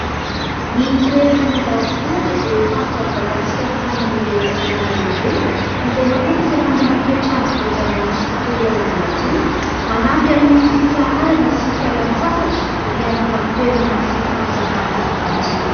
Ny toerana any ambanivohitra dia faritra midadasika amin'ny tany any ivelan'ny tanàna lehibe, izay matetika manana toetrandro voajanahary sy tontolo iainana madio ; manampy amin'ny fitsaharana sy fialan-tsasatra miaraka amin'ny toerana sy fahazavana madio.